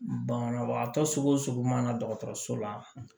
Banabagatɔ sugu o sugu mana dɔgɔtɔrɔso la